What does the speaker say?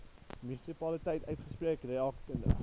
munisipaliteit uitspreek rakende